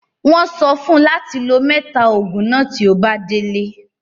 Wọ́n sọ fún ùn láti lò mẹ́ta òògùn náà tí ó bá délé.